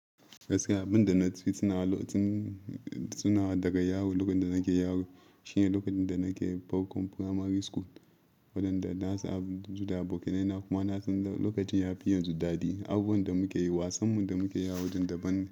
Gaskiya abin da na fitunawa daga yaro lokacin da nake yaro shine lokacin da nake Parkon Primary School, waɗanda na san abin juda abokaina kuma na san lokacin ya fi yin judadi, abubuwan da muke yi, wasanmu da muke yi a wajen daban.